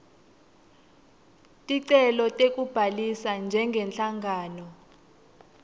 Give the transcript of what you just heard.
ticelo tekubhalisa njengenhlangano